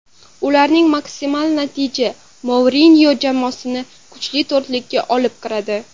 Ulardagi maksimal natija Mourinyo jamoasini kuchli to‘rtlikka olib kiradi.